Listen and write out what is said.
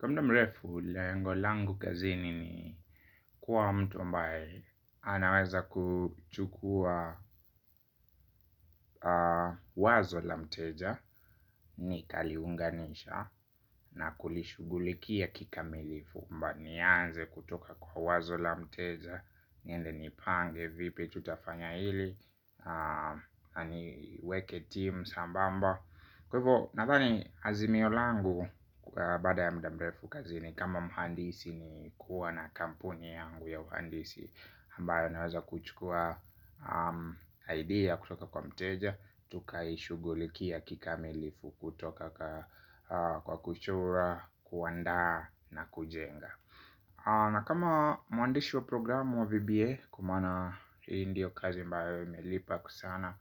Kwa mda mrefu, lengo langu kazini ni kuwa mtu ambae anaweza kuchukua wazo la mteja. Ni kaliunganisha na kulishugulikia kikamilifu Mba nianze kutoka kwa wazo la mteja. Niende nipange, vipi tutafanya hili. Haniweke timu sambamba kwevo, nathani azimio langu kwa bada ya mda mrefu kazini. Ni kama muhandisi ni kuwa na kampuni yangu ya uhandisi ambayo naweza kuchukua idea kutoka kwa mteja. Tukaishuguliki ya kikamilifu kutoka kwa kuchora, kuwanda na kujenga. Na kama mwandishi wa programu wa VBA kwa maana hi ndio kazi ambayo imelipa kwa sana.